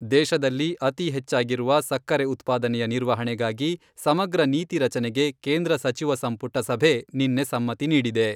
ದೇಶದಲ್ಲಿ ಅತೀ ಹೆಚ್ಚಾಗಿರುವ ಸಕ್ಕರೆ ಉತ್ಪಾದನೆಯ ನಿರ್ವಹಣೆಗಾಗಿ ಸಮಗ್ರ ನೀತಿ ರಚನೆಗೆ ಕೇಂದ್ರ ಸಚಿವ ಸಂಪುಟ ಸಭೆ ನಿನ್ನೆ ಸಮ್ಮತಿ ನೀಡಿದೆ.